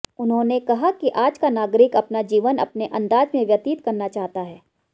उन्होंने कहा कि आज का नागरिक अपना जीवन अपने अंदाज में व्यतीत करना चाहता है